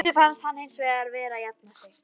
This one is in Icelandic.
Dísu fannst hann hins vegar vera að jafna sig.